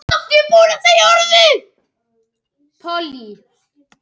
Gísli Már Gíslason.